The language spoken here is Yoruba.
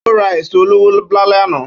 Ó ra èso olówó lálẹ́ àná.